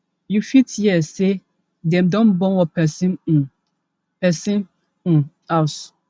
you fit hear say dem don burn one pesin um pesin um house